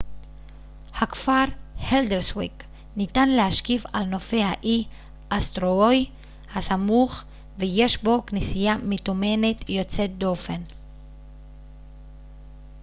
nהכפר הלדרסוויק ניתן להשקיף על נופי האי אסטורוי הסמוך ויש בו כנסייה מתומנת יוצאת דופן